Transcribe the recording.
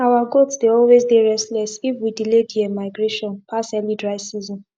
our goats dey always dey restless if we delay there migration pass early dry season